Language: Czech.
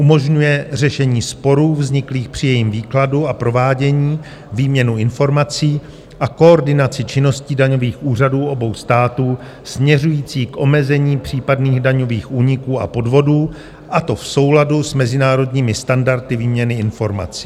Umožňuje řešení sporů vzniklých při jejím výkladu a provádění, výměnu informací a koordinaci činností daňových úřadů obou států směřující k omezení případných daňových úniků a podvodů, a to v souladu s mezinárodními standardy výměny informací.